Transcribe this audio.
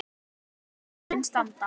Og honum mun standa.